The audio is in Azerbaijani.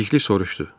Bəlikli soruşdu.